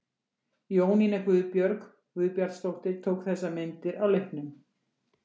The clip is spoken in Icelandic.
Jónína Guðbjörg Guðbjartsdóttir tók þessar myndir á leiknum.